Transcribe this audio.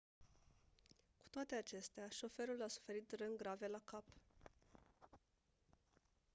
cu toate acestea șoferul a suferit răni grave la cap